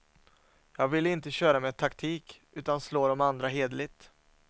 Jag ville inte köra med taktik utan slå dem andra hederligt.